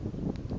emajalimane